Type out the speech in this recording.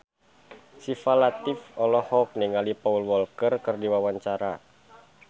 Syifa Latief olohok ningali Paul Walker keur diwawancara